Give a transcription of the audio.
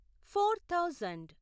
four thousand